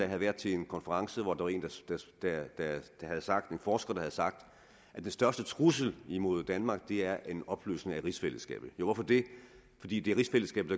havde været til en konference hvor en forsker havde sagt at den største trussel mod danmark er en opløsning af rigsfællesskabet hvorfor det fordi det er rigsfællesskabet